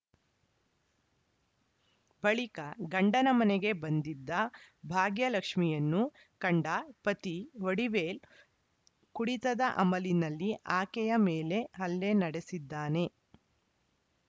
ಬಳಿಕ ಗಂಡನ ಮನೆಗೆ ಬಂದಿದ್ದ ಭಾಗ್ಯಲಕ್ಷ್ಮಿಯನ್ನು ಕಂಡ ಪತಿ ವಡಿವೇಲ್ ಕುಡಿತದ ಅಮಲಿನಲ್ಲಿ ಆಕೆಯ ಮೇಲೆ ಹಲ್ಲೆ ನಡೆಸಿದ್ದಾನೆ